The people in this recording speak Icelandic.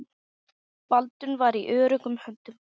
Baldvin var í öruggum höndum.